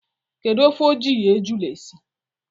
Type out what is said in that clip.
Kedu ofe e ji ejula esi?